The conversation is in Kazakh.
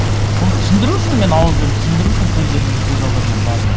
сосын соны түсіндіру үшін мен ауызбен түсіндіру үшін көз алдарына бардым